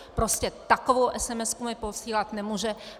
Prostě takovou esemesku mi posílat nemůže.